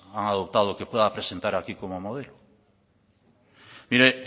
han adoptado que puedan presentar aquí como modelo mire